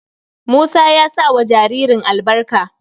Musa ya sa wa jaririn albarka.